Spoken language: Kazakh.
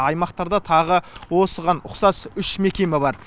аймақтарда тағы осыған ұқсас үш мекеме бар